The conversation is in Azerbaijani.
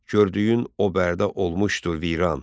Gördüyün o Bərdə olmuşdu viran.